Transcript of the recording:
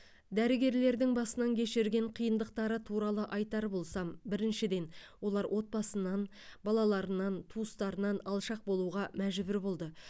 дәрігерлердің басынан кешірген қиындықтары туралы айтар болсам біріншіден олар отбасынан балаларынан туыстарынан алшақ болуға мәжбүр болды